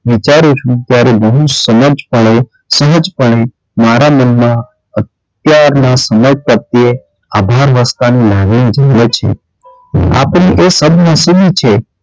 વિચારું છું ત્યારે ઘણી સમજ પડે સમજ પડે મારા મનમાં અત્યારનાં સમય પ્રત્યે આધારવર્ષ કાળ ની લાગણી છે આ પણ એ સદ્દનસીબ છે.